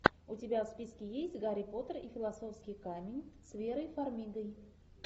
у тебя в списке есть гарри поттер и философский камень с верой фармигой